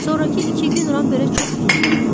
Sonrakı iki gün Ramberə çox uzun gəldi.